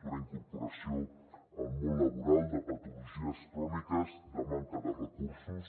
d’una incorporació al món laboral de patologies cròniques de manca de recursos